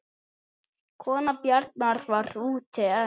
Kona Bjarnar var úti en